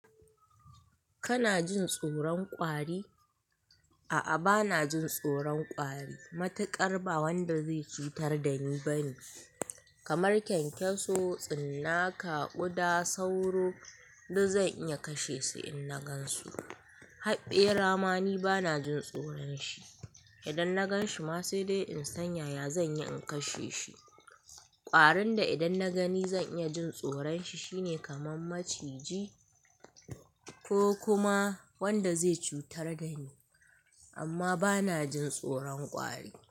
Kana jin tsoron kwari? A'a bana jin tsoron kwari. Matuƙar ba wanda zai cutar da ni bane. Kamar kyankyaso, tsinaka, ƙuda, sauro duk zan iya kashe su in na gan su. Haɓɓera ma ni bana jin tsoron shi. Idan na gan shi ma sai dai in sanya ya zan iya in kashe shi. Kwarin da idan na gani zan iya jin tsoron shi shine kamar maciji ko kuma wanda zai cutar da ni. Amma bana jin tsoron kwari.